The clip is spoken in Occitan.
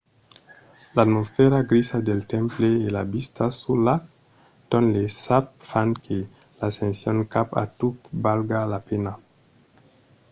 l’atmosfèra grisa del temple e la vista sul lac tonle sap fan que l'ascension cap al tuc valga la pena